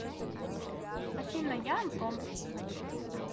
афина я антон